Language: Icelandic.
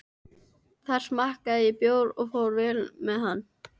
Þar smakkaði ég bjór en fór vel með hann.